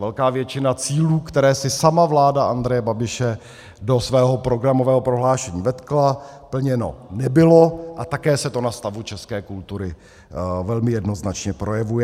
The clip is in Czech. Velká většina cílů, které si sama vláda Andreje Babiše do svého programového prohlášení vetkla, plněna nebyla a také se to na stavu české kultury velmi jednoznačně projevuje.